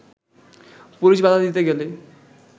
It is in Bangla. পুলিশ বাধা দিতে গেলে